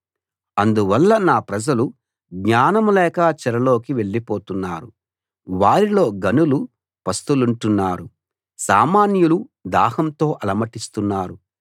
అందువల్ల నా ప్రజలు జ్ఞానం లేక చెరలోకి వెళ్లిపోతున్నారు వారిలో ఘనులు పస్తులుంటున్నారు సామాన్యులు దాహంతో అలమటిస్తున్నారు